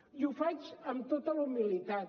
i ho faig amb tota la humilitat